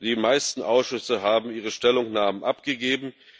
Die meisten Ausschüsse haben ihre Stellungnahmen abgegeben.